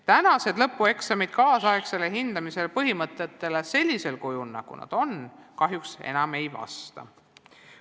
Tänased lõpueksamid kaasaegse hindamise põhimõtetele kahjuks enam ei vasta.